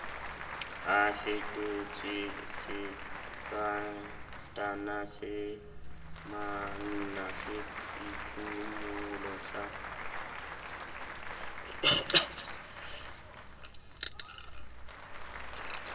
a fetotswesekatana semamina seiphumolo sa